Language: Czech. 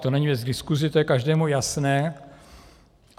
To není věc k diskusi, to je každému jasné.